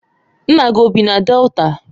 Nna gi o bi na Delta?